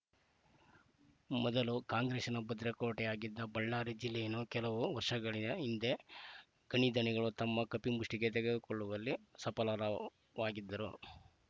ಮೊದಲು ಕಾಂಗ್ರೆಸ್‌ನ ಭದ್ರಕೋಟೆಯಾಗಿದ್ದ ಬಳ್ಳಾರಿ ಜಿಲ್ಲೆಯನ್ನು ಕೆಲವು ವರ್ಷಗಳ ಹಿಂದೆ ಗಣಿಧಣಿಗಳು ತಮ್ಮ ಕಪಿಮುಷ್ಟಿಗೆ ತೆಗೆದುಕೊಳ್ಳುವಲ್ಲಿ ಸಫಲರವಾಗಿದ್ದರು